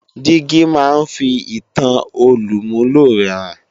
Dígí máa ń fi ìtan olùmúlò rẹ hàn